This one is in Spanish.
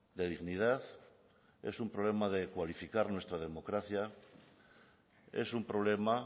de dignidad es un problema de cualificar nuestra democracia es un problema